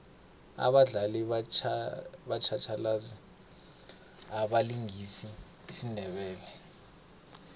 abadlali batjhatjhalazi abalingisa isindebele